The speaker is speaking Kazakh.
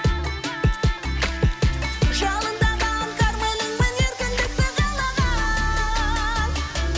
жалындаған кармэніңмін еркіндікті қалаған